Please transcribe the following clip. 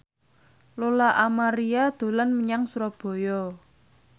Lola Amaria dolan menyang Surabaya